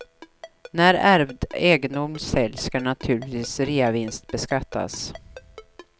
När ärvd egendom säljs ska den naturligtvis reavinstbeskattas.